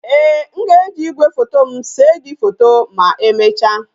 Ee, m ga-eji igwefoto m see gi foto ma emecha